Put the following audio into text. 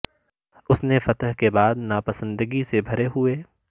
اس نے فتح کے بعد ناپسندگی سے بھرے ہوئے